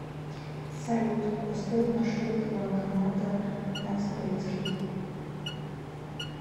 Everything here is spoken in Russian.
салют построй маршрут до банкомата на советский